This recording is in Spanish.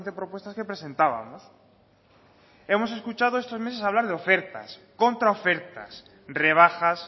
propuestas que presentábamos hemos escuchado estos meses hablar de ofertas contraofertas rebajas